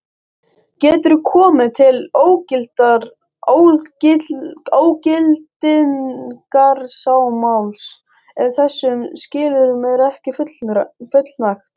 Getur komið til ógildingarmáls ef þessum skilyrðum er ekki fullnægt.